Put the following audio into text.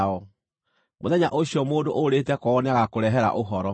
mũthenya ũcio mũndũ ũũrĩte kwao nĩagakũrehera ũhoro.